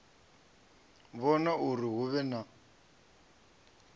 vhona uri hu vhe na